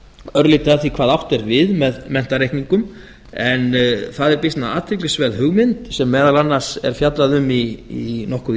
örlítið að því hvað átt er við með menntareikningum en það er býsna athyglisverð hugmynd sem meðal annars er fjallað um í nokkuð